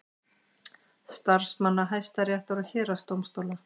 Starfsmanna Hæstaréttar og héraðsdómstóla.